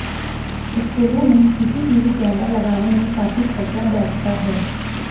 स्कूलों में CCTV camera लगाने में काफी खर्चा बैठता है